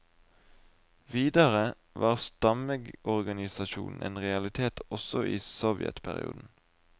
Videre var stammeorganisasjonen en realitet også i sovjetperioden.